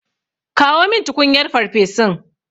Kawo min tukunyar farfesun.